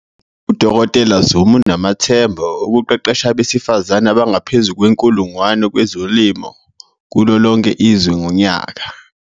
U-Dkt Zulu unamathemba okuqeqesha abesifazane abangaphezu kwe-1 000 kwezolimo kulolonke izwe ngonyaka.